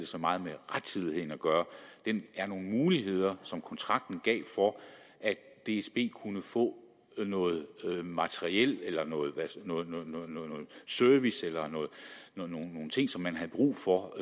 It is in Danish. så meget med rettidigheden at gøre den er en mulighed som kontrakten gav for at dsb kunne få noget materiel eller noget service eller nogle nogle ting som man havde brug for